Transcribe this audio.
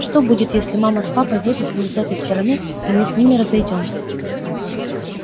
что будет если мама с папой выйдут не из этой стороны и мы с ними разойдёмся